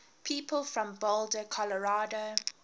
people from boulder colorado